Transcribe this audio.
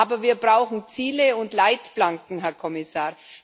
Aber wir brauchen Ziele und Leitplanken, Herr Kommissar.